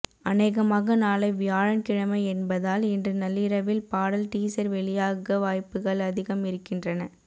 அநேகமாக நாளை வியாழக்கிழமை என்பதால் இன்று நள்ளிரவில் பாடல் டீசர் வெளியாக வாய்ப்புகள் அதிகம் இருக்கின்றன